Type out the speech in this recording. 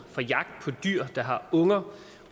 dyr der har unger